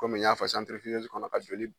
Kɔmi y'a fɔ kɔnɔ a joli